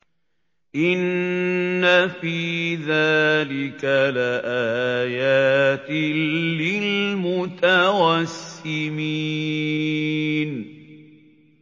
إِنَّ فِي ذَٰلِكَ لَآيَاتٍ لِّلْمُتَوَسِّمِينَ